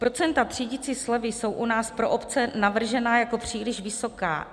Procenta třídicí slevy jsou u nás pro obce navržena jako příliš vysoká.